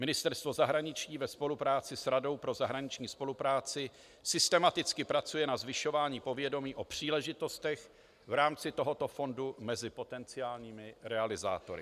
Ministerstvo zahraničí ve spolupráci s Radou pro zahraniční spolupráci systematicky pracuje na zvyšování povědomí o příležitostech v rámci tohoto fondu mezi potenciálními realizátory.